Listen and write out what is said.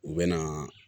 U bɛ na